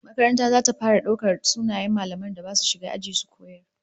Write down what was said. Makarantar zata fara daukar sunayen mallaman da basu shiga aji su koyar